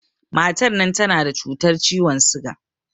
Matan nan tana da cutar ciwon siga